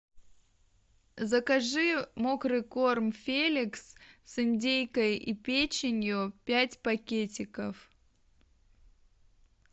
закажи мокрый корм феликс с индейкой и печенью пять пакетиков